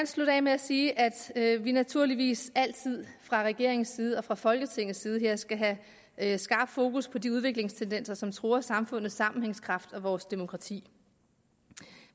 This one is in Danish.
slutte af med at sige at at vi naturligvis altid fra regeringens side og fra folketingets side skal have have skarp fokus på de udviklingstendenser som truer samfundets sammenhængskraft og vores demokrati